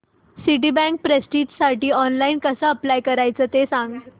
Citibank प्रेस्टिजसाठी online कसं apply करायचं ते सांग